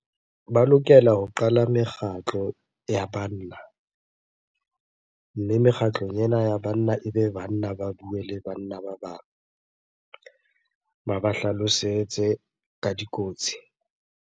Ba lokela ho qala mekgatlo ya banna. Mme mekgatlong ena ya banna, ebe banna ba bue le banna ba bang. Ba ba hlalosetse ka dikotsi.